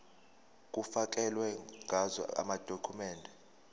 kufakelwe ngazo amadokhumende